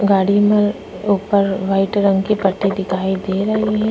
गाड़ी में ऊपर वाइट रंग की पट्टी दिखाई दे रही है।